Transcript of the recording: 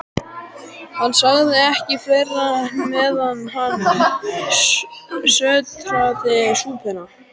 Hann sagði ekki fleira, meðan hann sötraði súpuna.